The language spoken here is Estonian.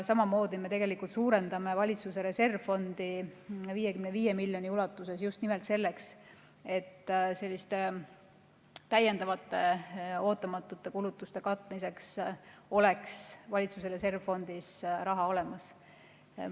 Samamoodi me suurendame valitsuse reservfondi 55 miljoni euro ulatuses just nimelt selleks, et selliste täiendavate ootamatute kulutuste katmiseks oleks valitsuse reservfondis raha olemas.